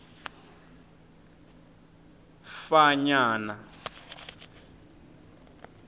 fanyana